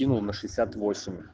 имя на шестьдесят восемь